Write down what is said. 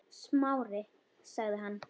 Smári- sagði hann.